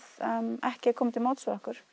ekki koma til móts við okkur